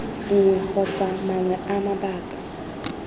nngwe kgotsa mangwe a mabaka